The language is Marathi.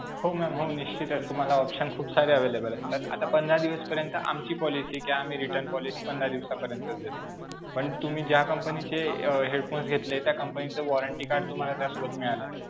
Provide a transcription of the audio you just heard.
हो ma'am. हो. निश्चितीच. तुम्हाला option खूप सारे available असतात. आता पंधरा दिवसपर्यंत आमची policy आहे कि आम्ही return policy पंधरा दिवसापर्यंतच देतो, पण तुम्ही ज्या company चे अं headphones घेतलेत त्या company चं warranty card त्यासोबत मिळालं असेल.